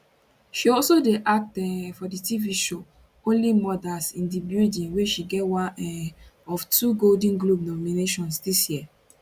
she also dey act um for di tv show only murders in di building wey she get one um of two golden globe nominations dis year